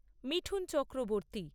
Mithun Chakraborty